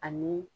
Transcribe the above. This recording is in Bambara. Ani